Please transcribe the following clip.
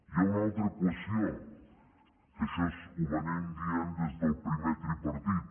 hi ha una altra qüestió que això ho venim dient des del primer tripartit